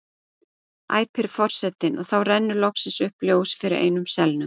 æpir forsetinn og þá rennur loksins upp ljós fyrir einum selnum.